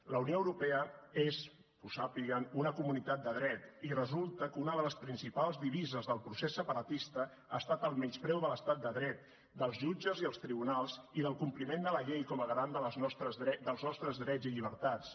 la unió europea és que ho sàpiguen una comunitat de dret i resulta que una de les principals divises del procés separatista ha estat el menyspreu de l’estat de dret dels jutges i els tribunals i del compliment de la llei com a garant dels nostres drets i llibertats